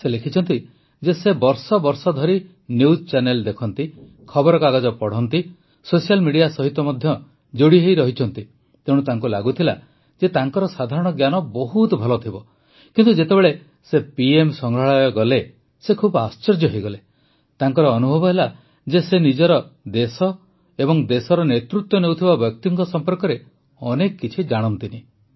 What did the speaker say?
ସେ ଲେଖିଛନ୍ତି ଯେ ସେ ବର୍ଷ ବର୍ଷ ଧରି ନିଉଜ ଚ୍ୟାନେଲ୍ ଦେଖନ୍ତି ଖବରକାଗଜ ପଢ଼ନ୍ତି ସୋସିଆଲ୍ ମିଡିଆ ସହିତ ମଧ୍ୟ ଯୋଡ଼ି ହୋଇ ରହିଛନ୍ତି ତେଣୁ ତାଙ୍କୁ ଲାଗୁଥିଲା ଯେ ତାଙ୍କର ସାଧାରଣ ଜ୍ଞାନ ବହୁତ ଭଲ ଥିବ କିନ୍ତୁ ଯେତେବେଳେ ସେ ପିଏମ୍ ସଂଗ୍ରହାଳୟ ଗଲେ ସେ ଖୁବ୍ ଆଶ୍ଚର୍ଯ୍ୟ ହୋଇଗଲେ ତାଙ୍କର ଅନୁଭବ ହେଲା ଯେ ସେ ନିଜର ଦେଶ ଓ ଦେଶର ନେତୃତ୍ୱ ନେଉଥିବା ବ୍ୟକ୍ତିଙ୍କ ସମ୍ପର୍କରେ ଅନେକ କିଛି ଜାଣନ୍ତି ନାହିଁ